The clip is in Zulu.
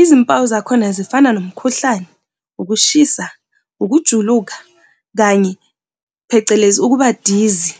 Izimpawu zakhona zifana nomkhuhlane, ukushisa, ukujuluka kanye, phecelezi ukuba dizzy.